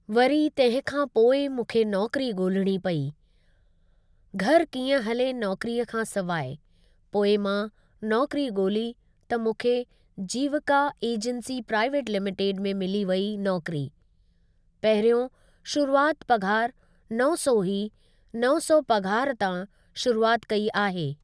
वरी तंहिंखां पोइ मूंखे नौकरी ॻोल्हणी पेई, घरु कीअं हले नौकरी खां सवाइ पोइ मां नौकरी ॻोल्ही त मूंखे जीविका एजेंसी प्राइवेट लिमिटिड में मिली वई नौकरी, पहिरियों शुरुआति पघारु नव सौ हुई नव सौ पघारु तां शुरुआति कई आहे।